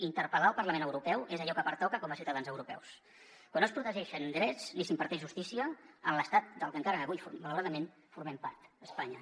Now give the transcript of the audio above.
interpel·lar el parlament europeu és allò que pertoca com a ciutadans europeus quan no es protegeixen drets ni s’imparteix justícia en l’estat del que encara avui malauradament formem part espanya